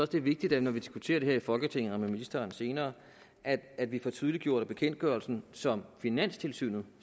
det er vigtigt når vi diskuterer det her i folketinget og med ministeren senere at vi får tydeliggjort at bekendtgørelsen som finanstilsynet